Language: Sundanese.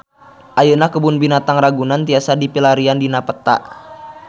Ayeuna Kebun Binatang Ragunan tiasa dipilarian dina peta